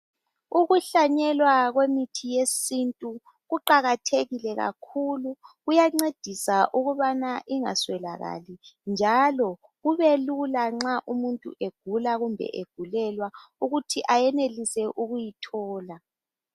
Ukuhlanyelwa kwemithi yesintu kuqakathekile kakhulu kuyancedisa ukubana ingaswelakali njalo kubelula nxa umuntu egula kumbe egulelwa ukuthi ayenelise ukuyithola.